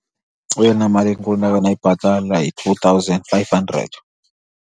Eyona mali inkulu ndake ndayibhatala yi-two thousand five hundred.